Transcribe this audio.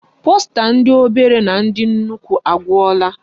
Posta ndi obere na ndi nnukwu agwula.